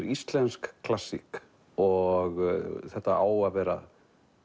íslensk klassík og þetta á að vera